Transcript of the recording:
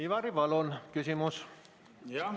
Ivari Padar, palun küsimus!